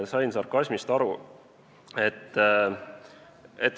Sain sarkasmist aru.